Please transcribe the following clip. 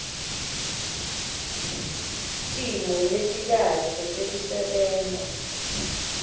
timo letikahle tekusebenta